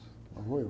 Lá vou eu.